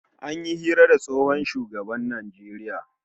An yi hira da tsohon shugaban Najeriya